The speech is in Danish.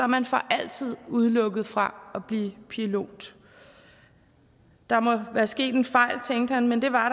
man for altid udelukket fra at blive pilot der må være sket en fejl tænkte han men det var